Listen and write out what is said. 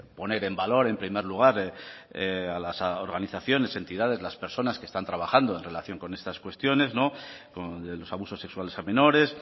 poner en valor en primer lugar a las organizaciones entidades las personas que están trabajando en relación con estas cuestiones con los abusos sexuales a menores